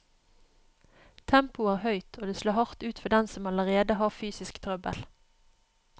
Tempoet er høyt, og det slår hardt ut for dem som allerede har fysisk trøbbel.